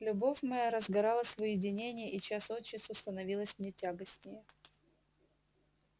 любовь моя разгоралась в уединении и час от часу становилась мне тягостнее